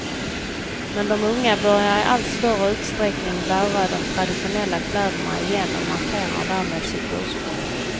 Men de unga börjar i allt större utsträckning att bära de traditionella kläderna igen och markerar därmed sitt ursprung.